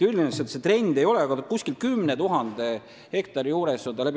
Üldiselt on trend aastaid püsinud selle 10 000 hektari juures.